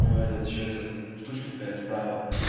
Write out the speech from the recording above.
ну этот ещё этот штучка такая справа